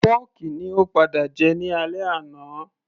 pọ́kì ni ó padà jẹ ní alẹ́ àná